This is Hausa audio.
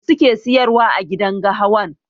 Mai suke siyarwa agidan gahawan?